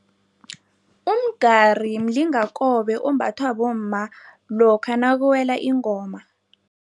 Umgari mlingakobe ombathwa bomma lokha nakuwela ingoma.